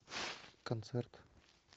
концерт